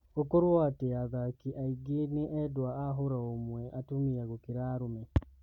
Gũkorwo atia athaki aingĩ ni endwa a hũra-ũmwe atũmia gũkĩra arũme?